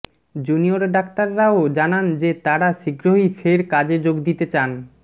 junior ডাক্তাররাও জানান যে তারা শীঘ্রই ফের কাজে যোগ দিতে চান